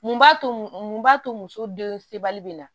Mun b'a to mun b'a to muso den sebali bɛ na